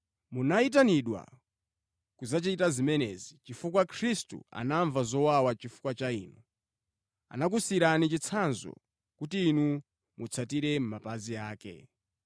Munayitanidwa kudzachita zimenezi, chifukwa Khristu anamva zowawa chifukwa cha inu, anakusiyirani chitsanzo, kuti inu mutsatire mʼmapazi ake.